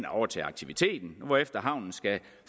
overtage aktiviteten hvorefter havnen skal